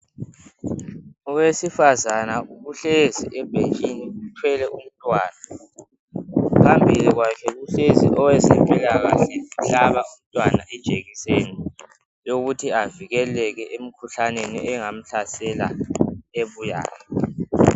Owesifazana uhlezi ebhentshini uthwele umntwana .Phambili kwakhe kuhlezi owezempilakahle, uhlaba umntwana ijekiseni. Eyokuthi avikeleke emikhuhlaneni, engamhlasela ebuyayo..